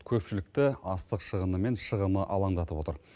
көпшілікті астық шығыны мен шығымы алаңдатып отыр